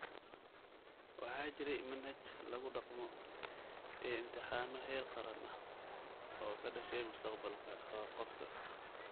Waxaa jiray manhaj lagu dhaqmo, iyo imtixaano heer qaran ah oo ka dhashay mustaqbalka qofka.